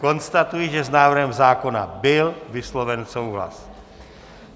Konstatuji, že s návrhem zákona byl vysloven souhlas.